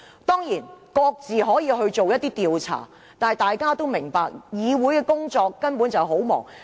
當然，議員可以各自進行研究，但大家都明白議會工作繁忙。